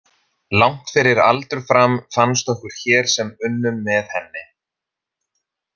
Langt fyrir aldur fram, fannst okkur hér sem unnum með henni.